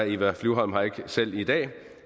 eva flyvholm her ikke selv i dag